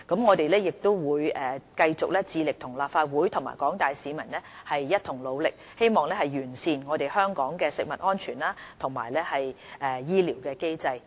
我們亦會繼續致力與立法會和廣大市民一同努力，希望完善香港的食物安全和醫療機制。